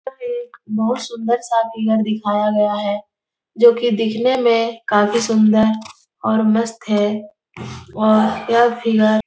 यह एक बहुत सुंदर सा फिगर दिखाया गया है जो कि दिखने में काफी सुंदर और मस्त है और यह फिगर --